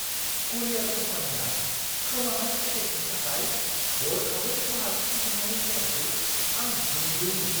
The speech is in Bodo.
करियार कम्पानिया खोमानाय पेकेजनि थाखाय हरखाबै खहा सुफुंफिन्नानै होनायखौ आं गोमोदोंमोन।